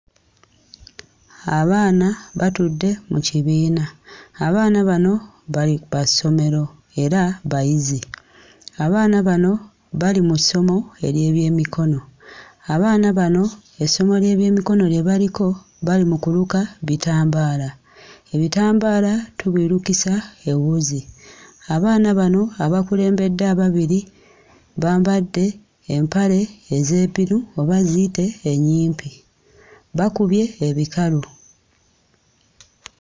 Abaana batudde mu kibiina. Abaana bano bali ba ssomero era bayizi. Abaana bano bali mu ssomo ery'ebyemikono. Abaana bano, essomo ly'ebyemikono lye baliko bali mu kuluka bitambaala. Ebitambaala tubirukisa ewuzi. Abaana bano abakulembedde ababiri bambadde empale ez'epiru oba ziyite ennyimpi. Bakubye ebikalu.